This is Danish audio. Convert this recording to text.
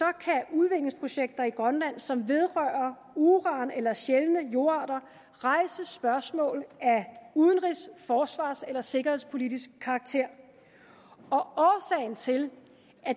udviklingsprojekter i grønland som vedrører uran eller sjældne jordarter rejse spørgsmål af udenrigs forsvars eller sikkerhedspolitisk karakter og til